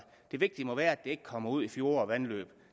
det vigtige må være at det ikke kommer ud i fjorde og vandløb